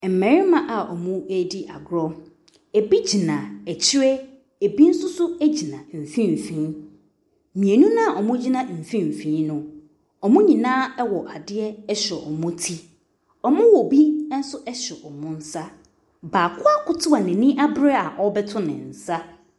Mmarima a wɔredi agorɔ. Ɛbi gyina akyire, ɛbi nso so gyina mfimfini. Mmienu no a wɔgyina mfimfini no, wɔn nyinaa wɔ adeɛ hyɛ wɔn ti. Wɔwɔ bi nso hyɛ wɔn nsa. Baako akoto a n'ani abere a ɔrebɛto ne nsa.